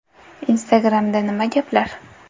Instagram’da nima gaplar?.